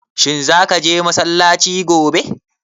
Shin za ka je massalaci gobe?